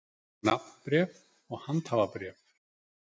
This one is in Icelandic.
Nafnbréf og handhafabréf.